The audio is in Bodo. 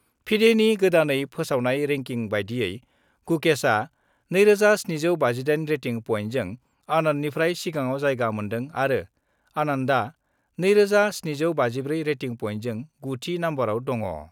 फिडेनि गोदानै फोसावनाय रेंकिं बादियै गुकेशआ 2758 रेटिं पइन्टजों आनन्दनिफ्राय सिगाङाव जायगा मोन्दों आरो आनन्दआ 2754 रेटिं पइन्टजों 9 थि नम्बरआव दङ।